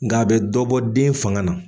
Nka a bɛ dɔ bɔ den fanga na.